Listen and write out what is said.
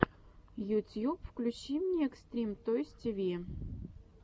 ютьюб включи мне экстрим тойс ти ви